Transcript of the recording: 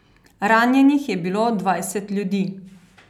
Ranjenih je bilo dvajset ljudi.